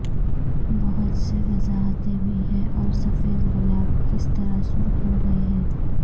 بہت سے وضاحتیں بھی ہیں اور سفید گلاب کس طرح سرخ ہوگئے ہیں